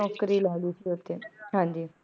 ਲੈ ਸੀ ਹਾਂਜੀ